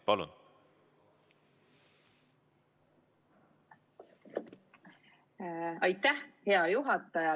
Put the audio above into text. Hea juhataja!